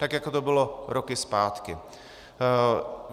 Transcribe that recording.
Tak jako to bylo roky zpátky.